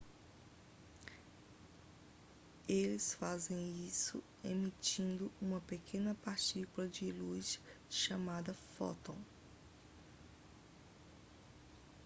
eles fazem isso emitindo uma pequena partícula de luz chamada fóton